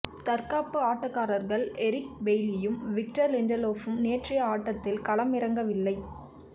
தற்காப்பு ஆட்டக்காரர்கள் எரிக் பெய்லியும் விக்டர் லிண்டலோஃபும் நேற்றைய ஆட்டத்தில் களமிறங்க வில்லை